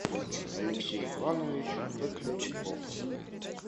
алексей иванович котлячков